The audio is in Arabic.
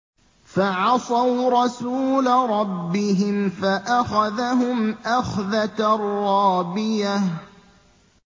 فَعَصَوْا رَسُولَ رَبِّهِمْ فَأَخَذَهُمْ أَخْذَةً رَّابِيَةً